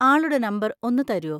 ആളുടെ നമ്പർ ഒന്ന് തരോ?